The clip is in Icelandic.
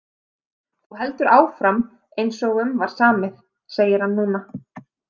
Þú heldur áfram eins og um var samið, segir hann núna.